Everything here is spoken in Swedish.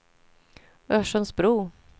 Örsundsbro